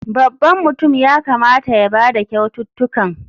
Babban mutum ya kamata ya ba da kyaututtukan.